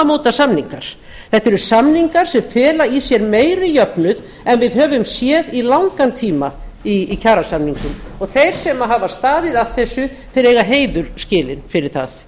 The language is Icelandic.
eru tímamótasamningar þetta eru samningar sem fela í sér meiri jöfnuð en að höfum séð í langan tíma í kjarasamningum og þeir sem hafa staðið að þessu eiga heiður skilinn fyrir það